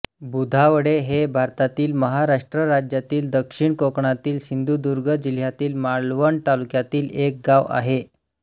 बुधावळे हे भारतातील महाराष्ट्र राज्यातील दक्षिण कोकणातील सिंधुदुर्ग जिल्ह्यातील मालवण तालुक्यातील एक गाव आहे